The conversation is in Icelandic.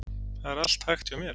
Það er allt hægt hjá mér.